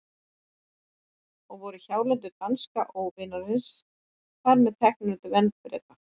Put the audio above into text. Og voru hjálendur danska óvinarins þar með teknar undir vernd Breta.